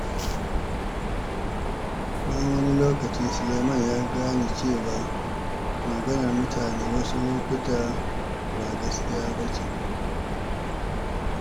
Bayan wani lokaci, Sulaiman ya gane cewa maganar mutane wasu lokuta ba gaskiya ba ce.